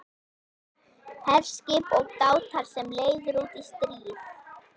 HERSKIP OG DÁTAR SEM LEIÐIR ÚT Í STRÍÐ